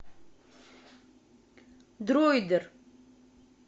дроидер